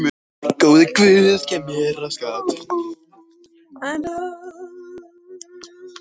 Nú er komið að þér að taka aftur vígtennurnar.